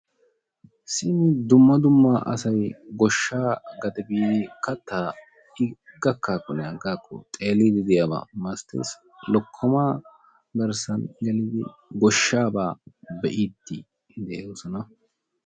simmi dumma dumma asay goshaa gade biidi katay gakaakko xeeliyaaba malatoosona, lokomaa garsan gelidi goshaabaa xeeliidide'oosona